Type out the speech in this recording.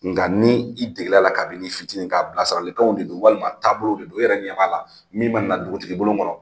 Nga ni i degela la kabin'i fitinin k'a bilasiralikanw de don walima taabolo de don. E yɛrɛ ɲɛ b'a la min mana na dugutigi bolon kɔnɔ,